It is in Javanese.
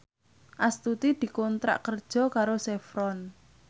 Astuti dikontrak kerja karo Chevron